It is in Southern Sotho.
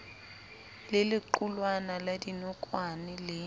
le lequlwana la dinokwane le